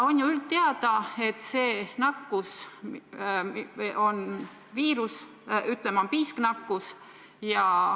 On ju üldteada, et see viirus on, ütleme, piisknakkus.